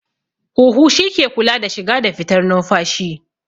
Huhu shi ke kula da shiga da fitar numfashi